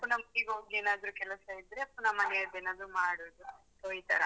ಪುನಃ ಮನೆಗೋಗಿ ಏನಾದ್ರು ಕೆಲಸ ಇದ್ರೆ ಪುನಃ ಮನೆಯದ್ದೇನಾದ್ರು ಮಾಡುದು so ಈತರ.